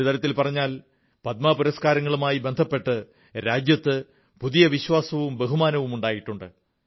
ഒരു തരത്തിൽ പറഞ്ഞാൽ പദ്മ പുരസ്കാരങ്ങളുമായി ബന്ധപ്പെട്ട് രാജ്യത്ത് ഒരു പുതിയ വിശ്വാസവും ബഹുമാനവും ഉണ്ടായിട്ടുണ്ട്